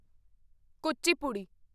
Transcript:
Kuchipudi